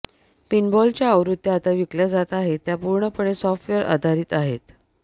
पिनबॉलच्या आवृत्त्या आता विकल्या जात आहेत त्या पूर्णपणे सॉफ्टवेअर आधारित आहेत